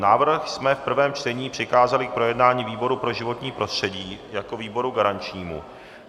Návrh jsme v prvém čtení přikázali k projednání výboru pro životní prostředí jako výboru garančnímu.